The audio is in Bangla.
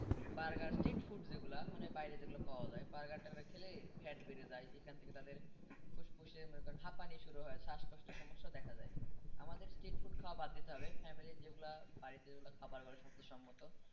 burger street food যেগুলো মানে বাইরে যেগুলো পাওয়ার যায় burger টার্গার খেলে fat বেড়ে যায় এখান থেকে তাদের ফুসফুসে মনে করেন হাঁপানি শুরু হয় শ্বাসকষ্টের সমস্যা দেখা দেয় আমাদের street food খাওয়া বাদ দিতে হবে family র যেগুলা বাড়িতে যেগুলো খাবার করে স্বাস্থ্যসম্মত।